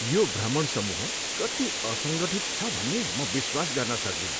यो भ्रमण समूह कति असङ्गठित छ भन्ने म विश्वास गर्न सक्दिनँ।